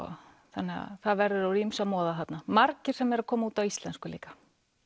þannig að það verður úr ýmsu að moða þarna margir sem eru að koma út á íslensku líka